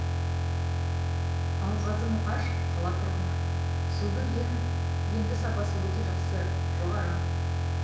алғазы мұқаш қала тұрғыны судың енді сапасы өте жақсы жоғары